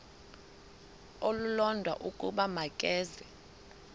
olulodwa ukuba makeze